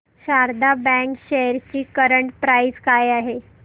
Sharda bank shares ची current price काय आहे